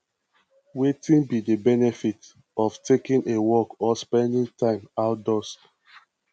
wetin be di benefit of taking a walk or spending time outdoors